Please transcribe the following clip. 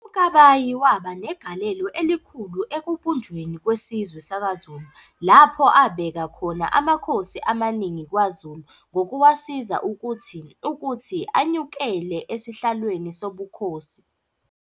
UMkabayi waba negalelo elikhulu ekubunjweni kwesizwe sakwaZulu, lapho abeka khona amakhosi amaningi kwaZulu ngokuwasiza ukuthi ukuthi anyukele esihlalweni sobukhosi.